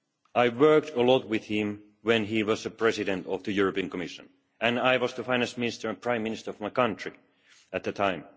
I worked a lot with him when he was the President of the European Commission and I was the Finance Minister and Prime Minister of my country at the time.